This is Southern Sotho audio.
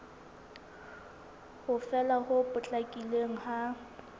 ho fela ho potlakileng ha